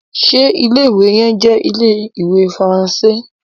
ṣe Ilé-ìwé yén jé Ilé-ìwé Faransé?